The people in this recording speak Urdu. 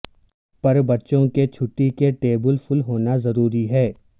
پر بچوں کے چھٹی کے ٹیبل پھل ہونا ضروری ہے